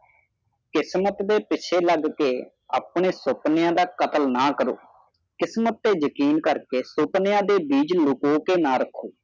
ਕਿਸਮਤ ਦੇ ਪਿੱਛੇ ਲੱਗ ਕੇ ਆਪਣੇ ਸੁਪਨਿਆਂ ਦਾ ਕਤਲ ਨਾ ਕਰੋ ਕਿਸਮਤ ਤੇ ਯਕੀਨ ਕਰਕੇ ਸੁਪਨਿਆਂ ਦੇ ਬੀਜ ਲਾਕੋਕੇ ਨਾ ਰਾਹਕੋ